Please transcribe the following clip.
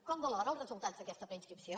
com valora els resultats d’aquesta preinscripció